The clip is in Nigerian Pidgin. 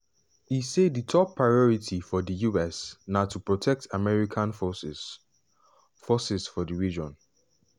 e say di top priority for di us na to protect american forces forces for di region.